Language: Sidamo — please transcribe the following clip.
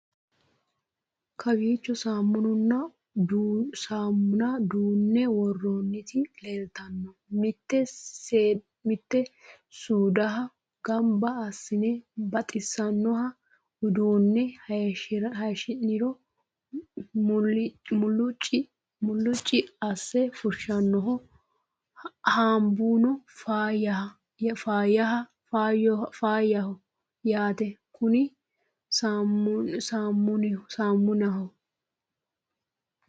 kowiicho saammunna duunne worroonniti leeltanno mittu suudiha gamba assine baxisannoha uduunne hayshiniro mulicci asse fushshannoho haambuno faayyh yaate konni saamunihu